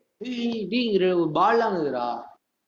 இருக்குதுடா.